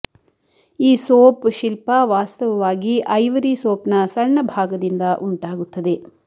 ಈ ಸೋಪ್ ಶಿಲ್ಪ ವಾಸ್ತವವಾಗಿ ಐವರಿ ಸೋಪ್ನ ಸಣ್ಣ ಭಾಗದಿಂದ ಉಂಟಾಗುತ್ತದೆ